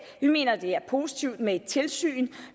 vi mener det er positivt med et tilsyn